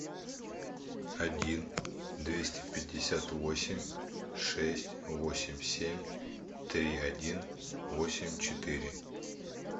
один двести пятьдесят восемь шесть восемь семь три один восемь четыре